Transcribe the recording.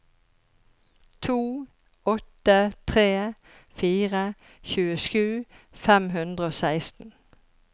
to åtte tre fire tjuesju fem hundre og seksten